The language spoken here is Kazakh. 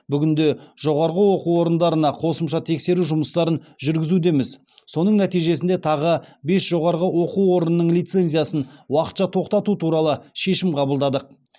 бүгінде жоғарғы оқу орындарына қосымша тексеру жұмыстарын жүргізудеміз соның нәтижесінде тағы бес жоғарғы оқу орынның лицензиясын уақытша тоқтату туралы шешім қабылдадық